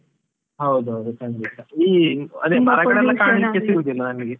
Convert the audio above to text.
ಹೌದದ್ ಖಂಡಿತ, ಇಲ್ಲಿ ಅದೇ ಸಿಗುದಿಲ್ಲ ನನಗೆ.